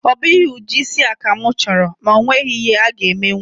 Ọ bụghị ụdị isi a ka mụ chọrọ, mana o nweghị ihe a-ga emenwu